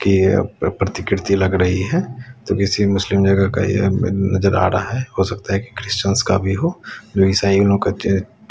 प्रतिकृति लग रही है जो किसी मुस्लिम जगह का यह पे नजर आ रहा है हो सकता है की क्रिश्चियन का भी हो जो ईसाइयों लोग के--